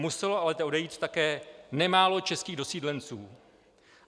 Muselo ale odejít také nemálo českých dosídlenců.